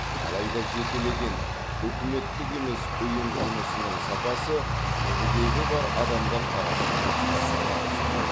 алайда жекелеген үкіметтік емес ұйым жұмысының сапасы мүгедектігі бар адамдар тарапынан сынға түседі